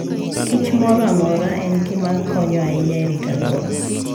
kich moro amora en gima konyo ahinya e rito alwora.